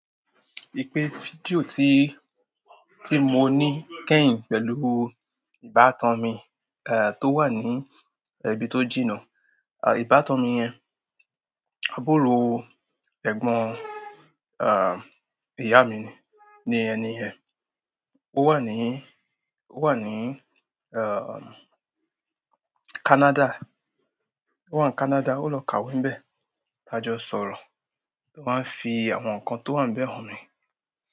Ipe fídíò tí, tí mo ní kẹ́hìn pẹ̀lú ìbátan mi, eh, tó wà ní ibi tó jìnnà. À, ìbátan mi yẹn, àbúrò ẹ̀gbọ́n, ah, ìyá mi ni ẹni yen. Ó wà ní, ó wà ní, ah, Canada. Ó wà ní Canada, ó lọ kàwé níbẹ̀. Taa jọ sọ̀rọ̀, ó máa ń fi àwọn nǹkan tó wà níbẹ̀ hàn mi.